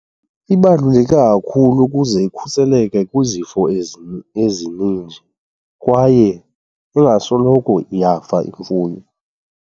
Ibaluleke kakhulu ukuze ikhuseleke kwizifo ezininji kwaye ingasoloko iyafa imfuyo.